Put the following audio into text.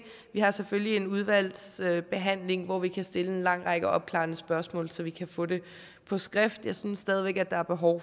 vi har selvfølgelig en udvalgsbehandling hvor vi kan stille en lang række opklarende spørgsmål så vi kan få det på skrift jeg synes stadig væk at der er behov